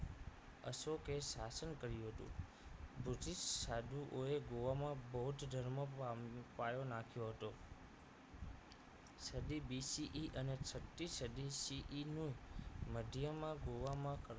અશોકે શાસન કર્યું હતું બુધિષ્ટ સાધુઓએ ગોવામાં બૌદ્ધ જ ધર્મ પાય પાયો નાખ્યો હતો સધી BCE સત્તી સધી CE નું મધ્યમાં ગોવામાં